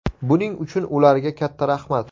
Buning uchun ularga katta rahmat!